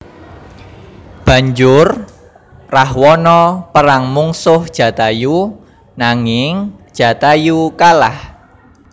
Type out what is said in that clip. Banjur Rahwana perang mungsuh Jatayu nanging Jatayu kalah